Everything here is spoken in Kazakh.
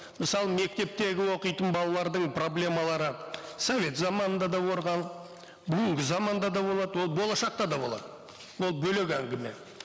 мысалы мектептегі оқитын балалардың проблемалары совет заманында да бүгінгі заманда да болады ол болашақта да болады ол бөлек әңгіме